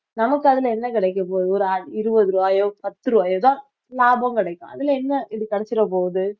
நமக்கு அதுல என்ன கிடைக்கப் போகுது ஒரு இருபது ரூபாயோ பத்து ரூபாயோ தான் லாபம் கிடைக்கும் அதுல என்ன இது கிடைச்சிற போகுது